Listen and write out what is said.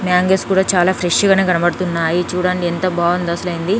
Mangoes కూడా చాలా fresh గానే కనబడుతున్నాయి చూడండి ఎంత బాగుందో అసలు ఏంది.